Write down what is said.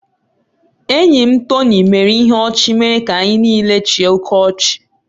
Enyi m Tony mere ihe ọchị mere ka anyị niile chịa oké ọchị.